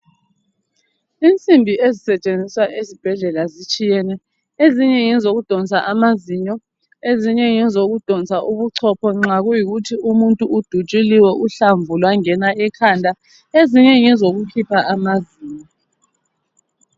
Insimbi ezisetshenziswa ezibhedlela zitshiyene , ezinye ngezokudonsa amazinyo , ezinye ngezokudonsa ubuchopho nxa kuyikuthi umuntu udutshuliwe uhlamvu lwangena ekhanda , ezinye ngezokukhipha amazinyo